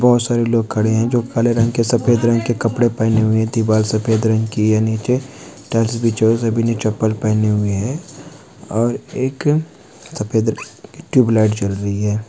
बहोत सारे लोग खड़े हैं हरे रंग के सफ़ेद रंग के कपडे पहने हुए हैं। दीवाल सफ़ेद रंग की हैं। नीचे ने चप्पल पहने हुए हैं और एक सफेद टुबलिइट जल रही है।